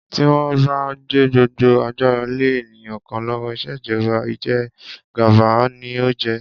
Tí wón bá gbé gbogbo agbára lé ènìyàn kan lówó, ìṣèjọba ìjẹgàba ni ó jẹ́.